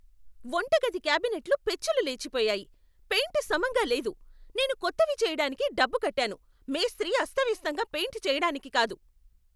వంటగది క్యాబినెట్లు పెచ్చులు లేచిపోయాయి, పెయింట్ సమంగా లేదు. నేను కొత్తవి చెయ్యటానికి డబ్బు కట్టాను, మేస్త్రీ అస్తవ్యస్తంగా పెయింట్ చెయ్యటానికి కాదు!